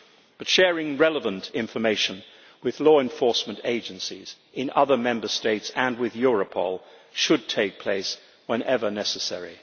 But sharing relevant information with law enforcement agencies in other Member States and with Europol should take place whenever necessary.